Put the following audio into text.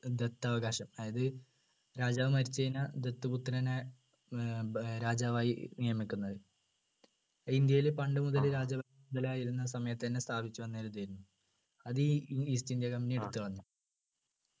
ദത്തവകാശം അതായത് രാജാവ് മരിച്ചുകഴിഞ്ഞാൽ ദത്തുപുത്രനെ ഏർ ബ് രാജാവായി നിയമിക്കുന്നത് അ ഇന്ത്യയില് പണ്ടു മുതല രാജ സമയത്ത് തന്നെ സ്ഥാപിച്ചു വന്ന ഒരു ഇതായിരുന്നു അത് ഈ east ഇന്ത്യ company എടുത്തു കളഞ്ഞു